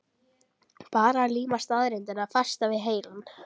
Bara að líma staðreyndirnar fastar við heilann.